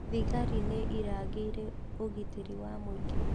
Thigari nĩ mĩrangĩire ũgitĩri wa mũingĩ